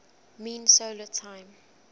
mean solar time